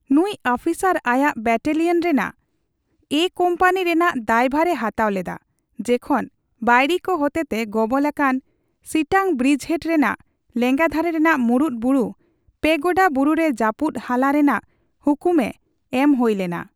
ᱱᱩᱭ ᱟᱯᱷᱤᱥᱟᱨ ᱟᱭᱟᱜ ᱵᱮᱴᱮᱞᱤᱭᱟᱱ ᱨᱮᱱᱟᱜ 'ᱮ' ᱠᱚᱢᱯᱟᱱᱤ ᱨᱮᱱᱟᱜ ᱫᱟᱭᱵᱷᱟᱨᱮ ᱦᱟᱛᱟᱣ ᱞᱮᱫᱟ, ᱡᱮᱠᱷᱚᱱ ᱵᱟᱹᱭᱨᱤ ᱠᱚ ᱦᱚᱛᱮᱛᱮ ᱜᱚᱵᱚᱞ ᱟᱠᱟᱱ ᱥᱤᱴᱟᱝ ᱵᱨᱤᱡᱽᱦᱮᱰ ᱨᱮᱱᱟᱜ ᱞᱮᱸᱜᱟ ᱫᱷᱟᱨᱮ ᱨᱮᱱᱟᱜ ᱢᱩᱲᱩᱫ ᱵᱩᱨᱩ ᱯᱮᱜᱳᱰᱟ ᱵᱩᱨᱩ ᱨᱮ ᱡᱟᱯᱩᱫ ᱦᱟᱞᱟ ᱨᱮᱱᱟᱜ ᱦᱩᱠᱩᱢ ᱮᱢ ᱦᱳᱭ ᱞᱮᱱᱟ ᱾